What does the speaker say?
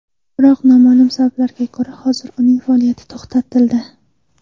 Biroq, noma’lum sabablarga ko‘ra hozir uning faoliyati to‘xtatildi.